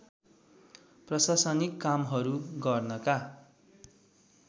प्रशासनिक कामहरू गर्नका